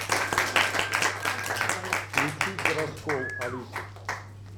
включить раскол алисы